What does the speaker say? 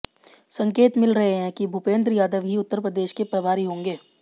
संकेत मिल रहे हैं कि भूपेंद्र यादव ही उप्र के प्रभारी होंगे